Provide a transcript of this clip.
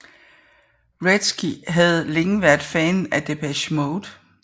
Wretzky havde længe været fan af Depeche Mode